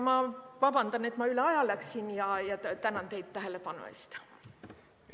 Vabandust, et ma üle aja läksin, ja tänan teid tähelepanu eest!